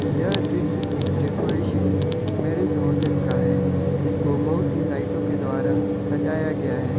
यह दृश्य एक डेकोरेशन मैरिज होटल का है जिसको बहुत ही लाइटों के द्वारा सजाया गया है।